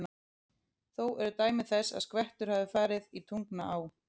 Þó eru dæmi þess, að skvettur hafa farið í Tungnaá.